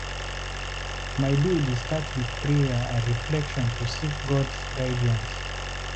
My day dey start with prayer and reflection to seek God's guidance.